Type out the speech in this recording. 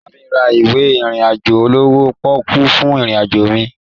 Lọ bá mi ra ìwé ìrìn àjò olówó pọ́ọkú fún ìrìn àjò mi